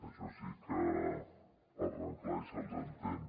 això sí que parlen clar i se’ls entén